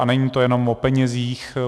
A není to jenom o penězích.